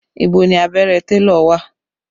Ibo ni abẹ́rẹ́ télọ̀ wà?